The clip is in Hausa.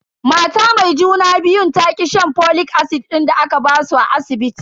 Mata mai juna biyun ta ki shan folic acid din da aka basu a asibiti.